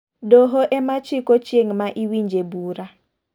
Doho ema chiko chieng' ma iwinje bura.